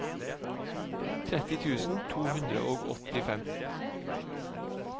tretti tusen to hundre og åttifem